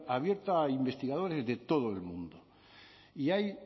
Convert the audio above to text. abierta a investigadores de todo el mundo y ahí